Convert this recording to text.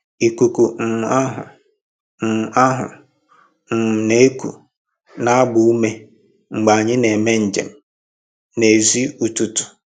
Ikuku um ahụ um ahụ um na-eku na-agba ume mgbe anyị na-eme njem n'èzí ụtụtụ.